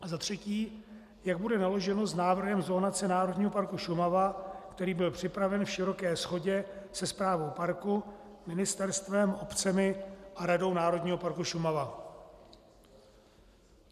A za třetí: Jak bude naloženo s návrhem zonace Národního parku Šumava, který byl připraven v široké shodě se správou parku, ministerstvem, obcemi a Radou Národního parku Šumava?